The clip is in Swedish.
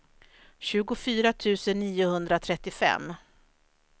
tjugofyra tusen niohundratrettiofem